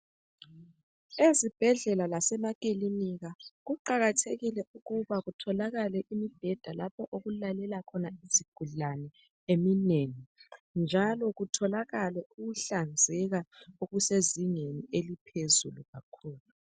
Ezibhedlela lasemakilinika kuqakathekile ukuba kutholakale imibheda lapho okulalela khona izigulane eminengi. Njalo kutholakale ukuhlanzeka okusezingeni eliphezulu kakhulu.